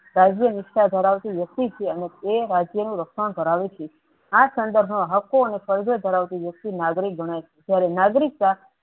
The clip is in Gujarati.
રાજ્ય નિષ્ઠા ધરાવતી વ્યક્તિત્વ અને તે રાજ્યો ની રક્ષણ ધરાવે છે આ સંદર્ફ મા હ્ફો અને વસ્તુ નાગરિક બને ત્યારે નાગરિકતા